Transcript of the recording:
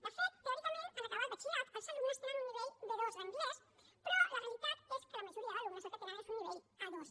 de fet teòricament en acabar el batxillerat els alumnes tenen un nivell b2 d’anglès però la realitat és que la majoria d’alumnes el que tenen és un nivell a2